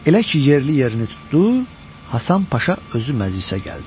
Elə ki, yerli yerini tutdu, Hasan Paşa özü məclisə gəldi.